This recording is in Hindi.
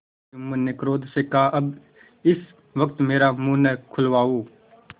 जुम्मन ने क्रोध से कहाअब इस वक्त मेरा मुँह न खुलवाओ